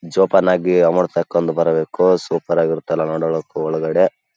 ಜೋಪಾನವಾಗಿ ಅಮೌಂಟ್ ಹಾಕಿಕೊಂಡು ಬರಬೇಕು ಸೂಪರಾಗಿರುತ್ತೆ ನೋಡಕ್ಕೆ ಒಳಗಡೆ.